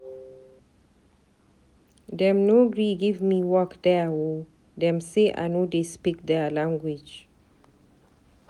Dem no gree give me work there o, dem sey I no dey speak there language.